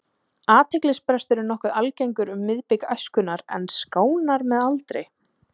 Athyglisbrestur er nokkuð algengur um miðbik æskunnar en skánar með aldri.